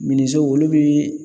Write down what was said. olu bɛ